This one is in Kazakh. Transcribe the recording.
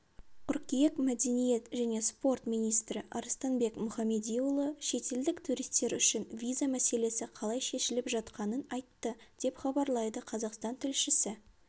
қыркүйек мәдениет және спорт министрі арыстанбек мұхамедиұлы шетелдік туристер үшін виза мәселесі қалай шешіліп жатқанын айтты деп хабарлайды қазақстан тілшісі